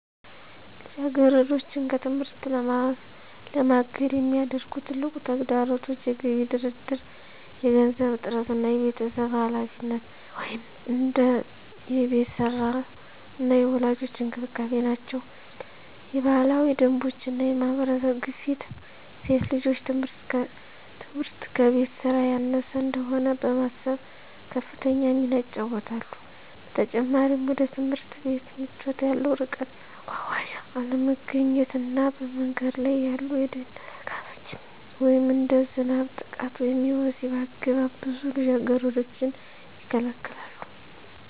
ልጃገረዶችን ከትምህርት ለማገድ የሚያደርጉ ትልቁ ተግዳሮቶች የገቢ ድርድር፣ የገንዘብ እጥረት እና የቤተሰብ ኃላፊነት (እንደ የቤት ሥራ እና የወላጆች እንክብካቤ) ናቸው። የባህላዊ ደንቦች እና የማህበረሰብ ግፊት ሴት ልጆች ትምህርት ከቤት ሥራ ያነሰ እንደሆነ በማሰብ ከፍተኛ ሚና ይጫወታሉ። በተጨማሪም፣ ወደ ትምህርት ቤት ምቾት ያለው ርቀት፣ የመጓጓዣ አለመገኘት እና በመንገድ ላይ ያሉ የደህንነት ስጋቶች (እንደ ዝናብ፣ ጥቃት ወይም የወሲብ አገባብ) ብዙ ልጃገረዶችን ይከለክላሉ።